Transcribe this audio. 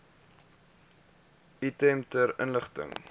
item ter inligting